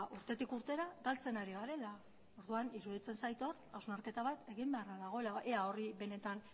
urtetik urtera galtzen ari garela orduan iruditzen zait hor hausnarketa bat egin beharra dagoela ea horri benetan